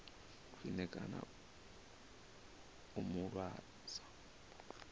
khwine kana u mu lwadza